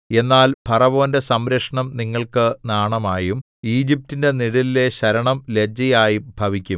എന്നാൽ ഫറവോന്റെ സംരക്ഷണം നിങ്ങൾക്ക് നാണമായും ഈജിപ്റ്റിന്റെ നിഴലിലെ ശരണം ലജ്ജയായും ഭവിക്കും